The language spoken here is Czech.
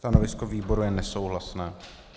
Stanovisko výboru je nesouhlasné.